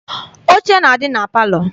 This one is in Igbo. Oche na-adị na palọ.